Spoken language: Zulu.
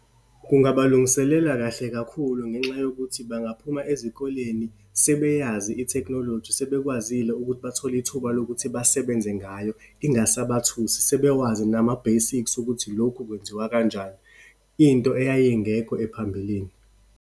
Kungaba lungiselela kahle kakhulu ngenxa yokuthi bangaphuma ezikoleni sebeyazi itekhinoloji, sebekwazile ukuthi bathole ithuba lokuthi basebenze ngayo, ingasabathusi, sebewazi nama-basics ukuthi lokhu kwenziwa kanjani. Into eyayingekho ephambilini.